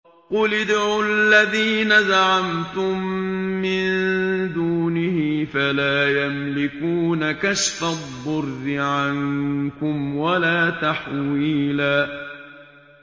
قُلِ ادْعُوا الَّذِينَ زَعَمْتُم مِّن دُونِهِ فَلَا يَمْلِكُونَ كَشْفَ الضُّرِّ عَنكُمْ وَلَا تَحْوِيلًا